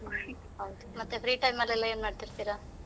ಹೌದು, ಮತ್ತೆ free time ಅಲ್ಲಿ ಎಲ್ಲ ಏನ್ ಮಾಡ್ತಾ ಇರ್ತೀರಾ?